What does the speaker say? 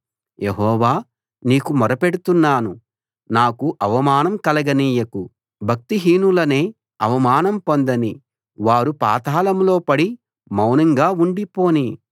యెహోవా నీకు మొరపెడుతున్నాను నాకు అవమానం కలగనీయకు భక్తిహీనులనే అవమానం పొందనీ వారు పాతాళంలో పడి మౌనంగా ఉండి పోనీ